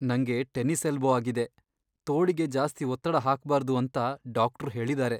ನಂಗೆ tennis elbow ಆಗಿದೆ, ತೋಳಿಗೆ ಜಾಸ್ತಿ ಒತ್ತಡ ಹಾಕ್ಬಾರ್ದು ಅಂತ ಡಾಕ್ಟ್ರು ಹೇಳಿದಾರೆ.